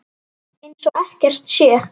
Eins og ekkert sé!